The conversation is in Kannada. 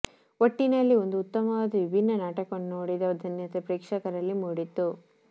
ಒಟ್ಟಿನಲ್ಲಿ ಒಂದು ಉತ್ತಮವಾದ ವಿಭಿನ್ನ ನಾಟಕವನ್ನು ನೋಡಿದ ಧನ್ಯತೆ ಪ್ರೇಕ್ಷಕರಲ್ಲಿ ಮೂಡಿತ್ತು